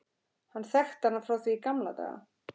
Hann þekkti hana frá því í gamla daga.